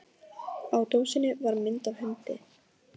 Við ókum líka yfir snæviþakið landið til Akureyrar með Guðmundi